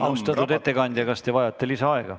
Austatud ettekandja, kas te vajate lisaaega?